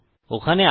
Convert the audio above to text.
ওখানে আরো আছে